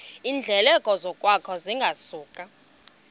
iindleko zokwakha zingasuka